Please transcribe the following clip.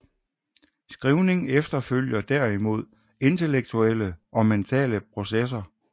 Skrivning efterfølger derimod intellektuelle og mentale processer